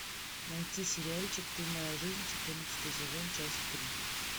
найти сериальчик ты моя жизнь четырнадцатый сезон часть три